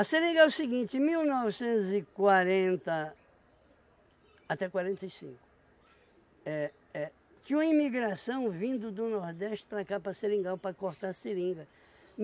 seringa é o seguinte, mil novecentos e quarenta até quarenta e cinco, é é tinha uma imigração vindo do Nordeste para cá, para Seringal, para cortar seringa.